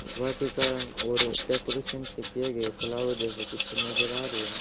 वाटिका और डेकोरेशन से किए गए फ्लावर जैसे कुछ नजर आ रहे हैं।